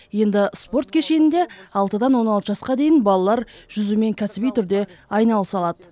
енді спорт кешенінде алтыдан он алты жасқа дейін балалар жүзумен кәсіби түрде айналыса алады